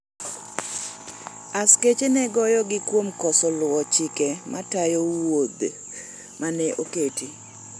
askache ne goyogi kuom koso luwo chike matayo wuoth mane oketi